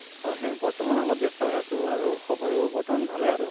হয় হে বৰ্তমান অলপ ব্য়স্ত হৈ আছো আৰু খবৰো বৰ্তমান ভালে আৰু।